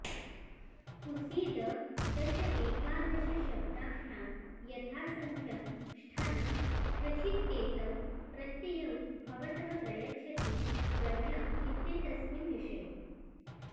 कुसीददशएकादशशब्दाभ्यां यथासङ्ख्यं ष्ठन् ष्ठचित्येतौ प्रत्ययौ भवतः प्रयच्छति गर्ह्यम् इत्येतस्मिन् विषये